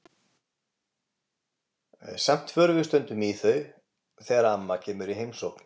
Samt förum við stundum í þau þegar amma kemur í heimsókn.